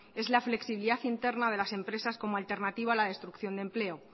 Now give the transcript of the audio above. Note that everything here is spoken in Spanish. es la flexibilidad interna de las empresas como alternativa a la destrucción de empleo